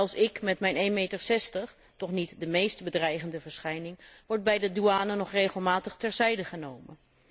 Zelfs ik met mijn 1,60 meter, toch niet de meest bedreigende verschijning, word bij de douane nog regelmatig terzijde genomen.